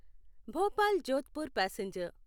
Bhopal Jodhpur passenger